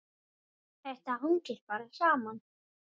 Þetta hangir bara saman.